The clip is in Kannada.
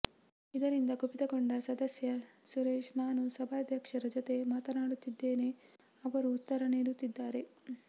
ಇದರಿಂದ ಕುಪಿತ ಗೊಂಡ ಸದಸ್ಯ ಸುರೇಶ್ ನಾನು ಸಭಾಧ್ಯಕ್ಷರ ಜೊತೆ ಮಾತನಾಡುತ್ತಿದ್ದೇನೆ ಅವರು ಉತ್ತರ ನೀಡುತ್ತಿದ್ದಾರೆ